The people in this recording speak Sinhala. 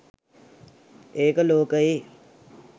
ඒක ලෝකයේ